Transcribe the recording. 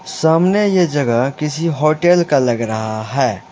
सामने यह जगह किसी होटल का लग रहा है।